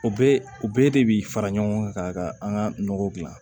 O bɛɛ o bɛɛ de bi fara ɲɔgɔn kan ka an ka nɔgɔ gilan